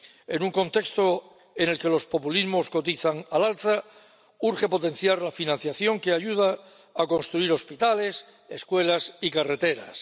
En un contexto en el que los populismos cotizan al alza, urge potenciar la financiación que ayuda a construir hospitales, escuelas y carreteras.